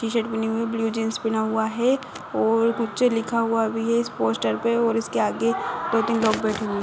T shirt पिनी हुई है ब्लू जीन्स पिना हुआ है और कुछ लिखा हुआ भी है इस पोस्टर पे और इसके आगे दो तीन लोग बैठे हुए हैं।